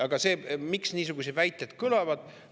Aga miks niisuguseid väited kõlavad?